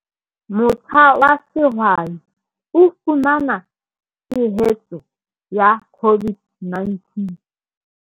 Motjha wa sehwai o fumana tshehetso ya COVID-19